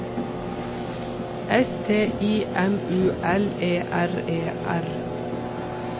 S T I M U L E R E R